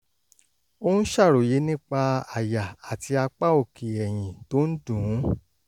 ó ń ṣàròyé nípa àyà àti apá òkè ẹ̀yìn tó ń dùn ún